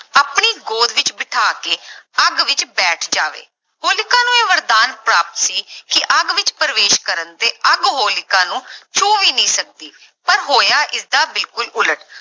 ਆਪਣੀ ਗੋਦ ਵਿੱਚ ਬਿਠਾ ਕੇ ਅੱਗ ਵਿੱਚ ਬੈਠ ਜਾਵੇ, ਹੋਲਿਕਾ ਨੂੰ ਇਹ ਵਰਦਾਨ ਪ੍ਰਾਪਤ ਸੀ ਕਿ ਅੱਗ ਵਿੱਚ ਪ੍ਰਵੇਸ਼ ਕਰਨ ਤੇ ਅੱਗ ਹੋਲਿਕਾ ਨੂੰ ਛੂਹ ਵੀ ਨਹੀਂ ਸਕਦੀ ਪਰ ਹੋਇਆ ਇਸਦਾ ਬਿਲਕੁਲ ਉਲਟ।